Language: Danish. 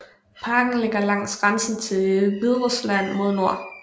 Parken ligger langs grænsen til Hviderusland mod nord